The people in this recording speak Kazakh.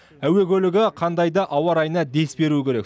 әуе көлігі қандай да ауа райына дес беруі керек